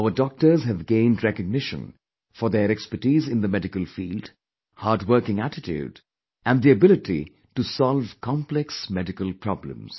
Our doctors have gained recognition for their expertise in the medical field, hardworking attitude and the ability to solve complex medical problems